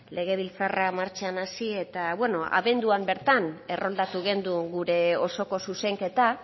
legebiltzarra martxan hasi eta beno abenduan bertan erroldatu genuen gure osoko zuzenketa